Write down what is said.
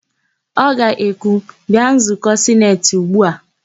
Ọ ga-ekwu, "bịa nzụkọ sineti ugbu a"!